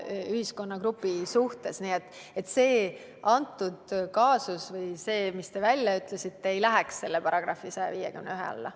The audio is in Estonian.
See kaasus või see sõnavõtt, mis te välja tõite, ei läheks § 151 alla.